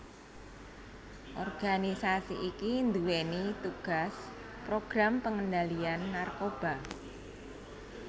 Organisasi iki nduwèni tugas program pengendalian narkoba